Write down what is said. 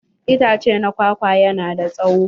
Itace na kwakwa yana da tsawo.